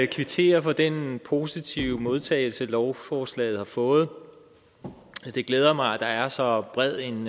kvittere for den positive modtagelse lovforslaget har fået det glæder mig at der er så bred en